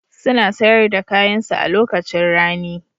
Suna sayar da kayansu a lokacin rani.